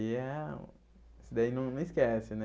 E eh isso daí não não esquece, né?